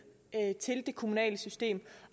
til det kommunale system